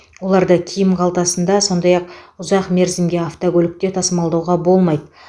оларды киім қалтасында сондай ақ ұзақ мерзімге автокөлікте тасымалдауға болмайды